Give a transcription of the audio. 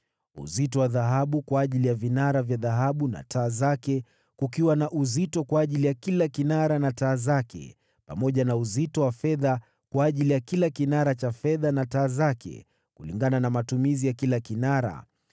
Uzito wa dhahabu kwa ajili ya vinara vya dhahabu na taa zake, kukiwa na uzito kwa ajili ya kila kinara na taa zake, pamoja na uzito wa fedha kwa ajili ya kila kinara cha fedha na taa zake, kulingana na matumizi ya kila kinara;